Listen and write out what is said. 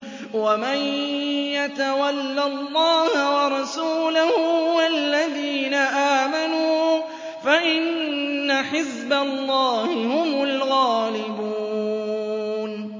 وَمَن يَتَوَلَّ اللَّهَ وَرَسُولَهُ وَالَّذِينَ آمَنُوا فَإِنَّ حِزْبَ اللَّهِ هُمُ الْغَالِبُونَ